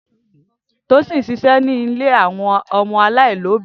Tosin sise ni ilé awọn ọmọ alailobi.